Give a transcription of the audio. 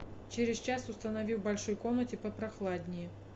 через час установи в большой комнате попрохладнее